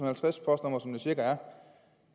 halvtreds postnumre som der cirka om